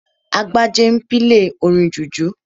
Agbájé n pílè orin jùjú